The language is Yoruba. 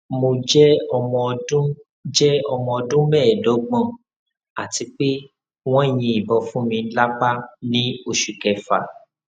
mo jẹ omoọdun jẹ omoọdun meedogbon ati pe won yin ibon funmi lapa ni oṣu kefa